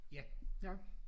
Ja jeg